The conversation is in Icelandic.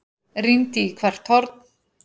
Rýndi í hvert horn.